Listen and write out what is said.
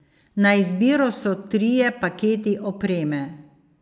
Na izbiro so trije paketi opreme.